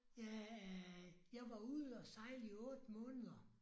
Ja jeg var ude og sejle i 8 måneder